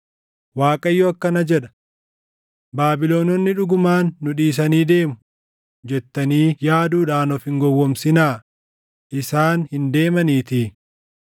“ Waaqayyo akkana jedha: ‘Baabilononni dhugumaan nu dhiisanii deemu’ jettanii yaaduudhaan of hin gowwoomsinaa; isaan hin deemaniitii!